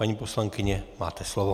Paní poslankyně, máte slovo.